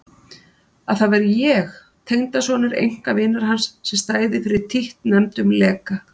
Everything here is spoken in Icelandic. Að það væri ég, tengdasonur einkavinar hans, sem stæði fyrir títtnefndum leka.